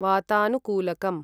वातानुकूलकम्